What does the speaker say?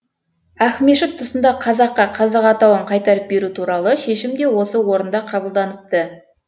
ақмешіт тұсында қазаққа қазақ атауын қайтарып беру туралы шешім де осы орында қабылданыпты